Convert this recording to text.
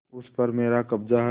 उस पर मेरा कब्जा है